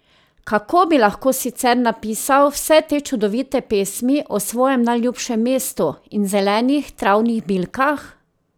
Kako bi lahko sicer napisal vse te čudovite pesmi o svojem najljubšem mestu in zelenih travnih bilkah?